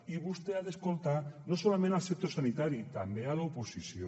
i vostè ha d’escoltar no solament el sector sanitari també l’oposició